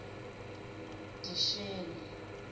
disheni